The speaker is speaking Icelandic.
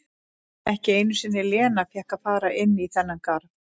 Ekki einu sinni Lena fékk að fara inn í þann garð.